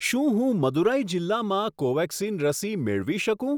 શું હું મદુરાઈ જિલ્લામાં કોવેક્સિન રસી મેળવી શકું?